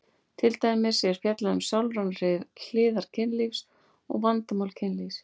Til dæmis er fjallað um sálrænar hliðar kynlífs og vandamál kynlífs.